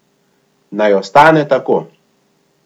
Naj ostane tako.